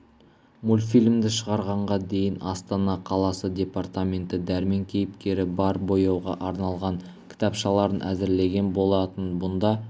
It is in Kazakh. мультфильмді шығарғанға дейін астана қаласы департаменті дәрмен кейіпкері бар бояуға арналған кітапшаларын әзірлеген болатын бұнда